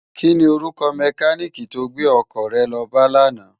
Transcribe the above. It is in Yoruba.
Kini órúkò mèkánikí tó gbé òkò re lò bá làná?